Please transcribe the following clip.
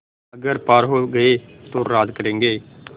अगर पार हो गये तो राज करेंगे